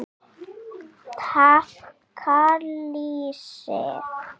Taka lýsi!